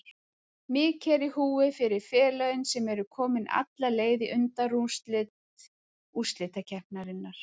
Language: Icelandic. Mikið er í húfi fyrir félögin sem eru komin alla leið í undanúrslit úrslitakeppninnar.